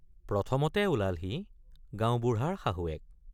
প্ৰথমতে ওলালহি গাঁওবুঢ়াৰ শাহুৱেক।